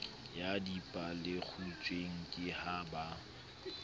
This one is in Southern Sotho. ya dipalekgutshwe ke ha ba